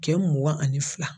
Kɛ mugan ani fila.